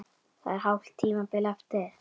Það er hálft tímabil eftir!